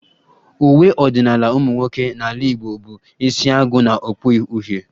Uwe ọdịnala ụmụnwoke n'ala Igbo bụ isiagu na okpu uhie